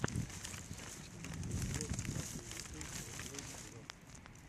ютьюб влог дабл ю о ти реплей зон